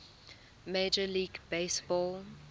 major league baseball